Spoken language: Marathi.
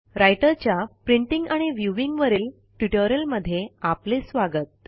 रायटर च्या प्रिंटिंग आणि व्ह्यूइंग वरील ट्युटोरियलमध्ये आपले स्वागत